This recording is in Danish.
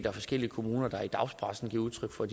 er forskellige kommuner der i dagspressen giver udtryk for